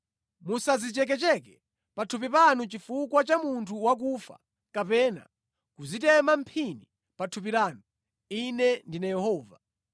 “ ‘Musadzichekecheke pathupi panu chifukwa cha munthu wakufa kapena kudzitema mphini pa thupi lanu. Ine ndine Yehova.